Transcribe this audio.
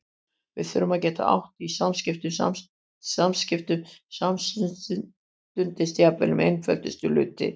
Við þurftum að geta átt í samskiptum samstundis, jafnvel um einföldustu hluti.